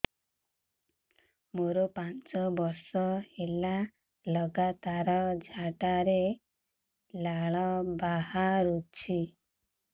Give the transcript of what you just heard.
ମୋରୋ ପାଞ୍ଚ ବର୍ଷ ହେଲା ଲଗାତାର ଝାଡ଼ାରେ ଲାଳ ବାହାରୁଚି